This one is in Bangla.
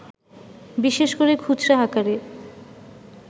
বিশেষ করে খুচরা আকারে